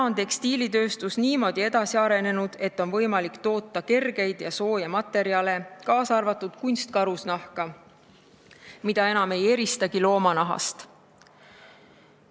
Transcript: Tekstiilitööstus on niimoodi edasi arenenud, et on võimalik toota kergeid ja sooje materjale, kaasa arvatud kunstkarusnahka, mida enam ei eristagi loomanahast.